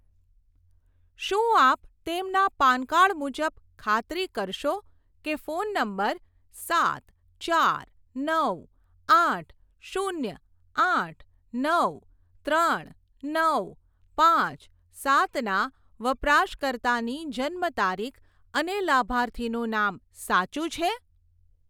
શું આપ તેમનાં પાન કાર્ડ મુજબ ખાતરી કરશો કે ફોન નંબર સાત ચાર નવ આઠ શૂન્ય આઠ નવ ત્રણ નવ પાંચ સાતના વપરાશકર્તાની જન્મ તારીખ અને લાભાર્થીનું નામ સાચું છે?